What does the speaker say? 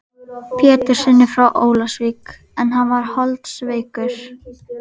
Péturssyni frá Ólafsvík en hann var holdsveikur.